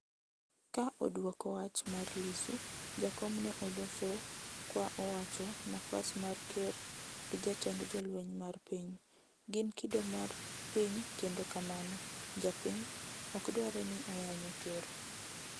Ka odwoko wach mar Lissu, Jakom ne oloso kwa owacho nafas mar ker gi jatend jolweny mar piny, gin kido mar piny kendo kamano (japiny) ok dware ni oyanyo ker